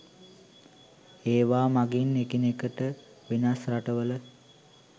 ඒවා මඟින් එකිනෙකට වෙනස් රටවල